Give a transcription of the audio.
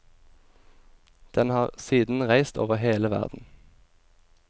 Den har siden reist over hele verden.